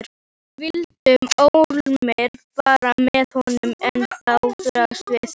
Við vildum ólmir fara með honum en hann þráaðist við.